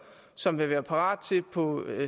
som vil være parate til på